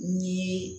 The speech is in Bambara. Ni ye